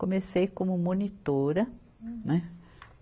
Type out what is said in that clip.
Comecei como monitora. Hum. Né